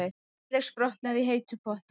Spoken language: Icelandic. Handleggsbrotnaði í heitum potti